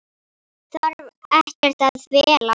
Þarf ekkert að fela.